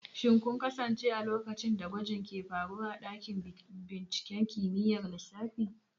Shin kun kasance a lokacin da gwajin ke faruwa a dakin binciken kimiyyar lissafi?